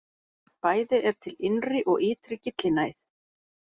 Bæði er til innri og ytri gyllinæð.